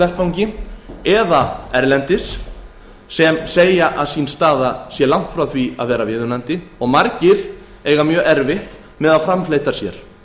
vettvangi eða erlendis sem segja stöðu sína langt frá því að vera viðunandi og margir eiga erfitt með að framfleyta sér